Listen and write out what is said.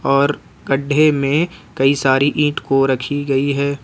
और गड्ढे में कई सारी ईट को रखी गई है।